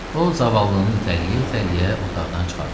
O zavallığını itələyə-itələyə otaqdan çıxartdı.